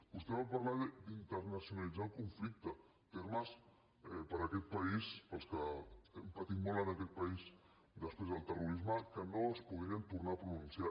vostè va parlar d’internacionalitzar el conflicte ter·mes per a aquest país per als que hem patit molt en aquest país després del terrorisme que no es podrien tornar a pronunciar